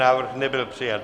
Návrh nebyl přijat.